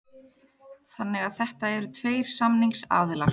Þannig að þetta eru tveir samningsaðilar